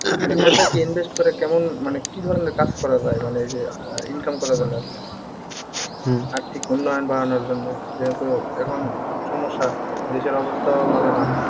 invest করে কেমন মানে কি ধরনের কাজ করা যায় মানে এই যে আহ income করা গেল এখন আর্থিক উন্নয়ন বাড়ানোর জন্য যেহেতু এখন সমস্যা দেশের অবস্থাও ভালো না